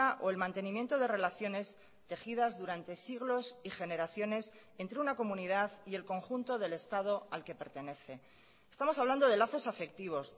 o el mantenimiento de relaciones tejidas durante siglos y generaciones entre una comunidad y el conjunto del estado al que pertenece estamos hablando de lazos afectivos